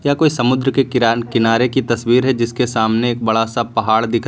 यह कोई समुद्र के किरान किनारे की तस्वीर है जिसके सामने एक बड़ा सा पहाड़ दिख रहा--